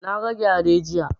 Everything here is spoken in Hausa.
Na ga gyare jiya